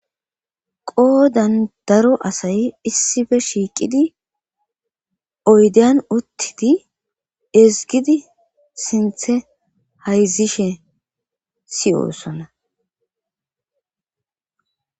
Oodan daro asay issife shiiqidi oydeyan uttidi ezgidi sinthe hayzishe siyoosona.